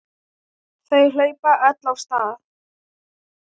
Þau hlaupa öll af stað.